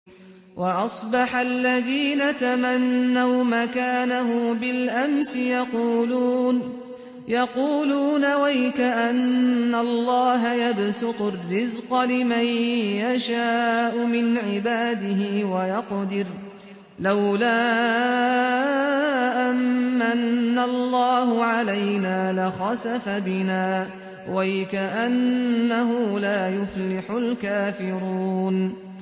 وَأَصْبَحَ الَّذِينَ تَمَنَّوْا مَكَانَهُ بِالْأَمْسِ يَقُولُونَ وَيْكَأَنَّ اللَّهَ يَبْسُطُ الرِّزْقَ لِمَن يَشَاءُ مِنْ عِبَادِهِ وَيَقْدِرُ ۖ لَوْلَا أَن مَّنَّ اللَّهُ عَلَيْنَا لَخَسَفَ بِنَا ۖ وَيْكَأَنَّهُ لَا يُفْلِحُ الْكَافِرُونَ